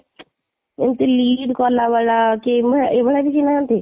ଏମିତି lead କଲା ଵାଲା ଏଇ ଭଳିଆ କେହି ନାହାଁନ୍ତି ?